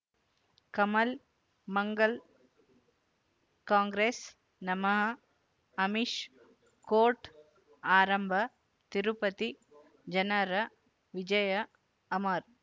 ಕಮಲ್ ಮಂಗಳ್ ಕಾಂಗ್ರೆಸ್ ನಮಃ ಅಮಿಷ್ ಕೋರ್ಟ್ ಆರಂಭ ತಿರುಪತಿ ಜನರ ವಿಜಯ ಅಮರ್